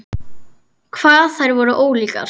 Hvað þær voru ólíkar!